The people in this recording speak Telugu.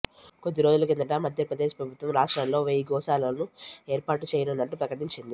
కొద్ది రోజుల కిందట మధ్యప్రదేశ్ ప్రభుత్వం రాష్ట్రంలో వెయ్యి గోశాలలను ఏర్పాటు చేయనున్నట్లు ప్రకటించింది